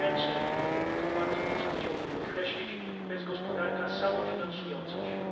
Co więcej i to bardzo mocno chciałbym podkreślić to jest gospodarka samofinansująca się.